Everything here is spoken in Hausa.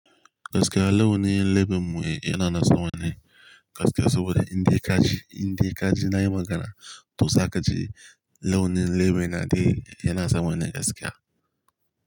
Gaskiya launin leben mu yana nan sama ne gaskiya saboda inda ka ji, indai ka ji na yi magana to zaka ji launin lebe na dai yana san wane gaskiya.